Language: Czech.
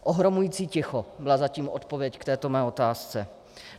Ohromující ticho byla zatím odpověď k této mé otázce.